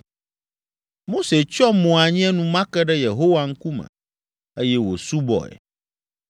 Mose tsyɔ mo anyi enumake ɖe Yehowa ŋkume, eye wòsubɔe.